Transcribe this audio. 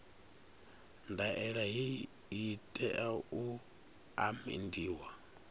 ndaela hei i tea u amendiwa